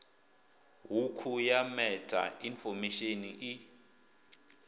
hukhu ya meta infomesheni i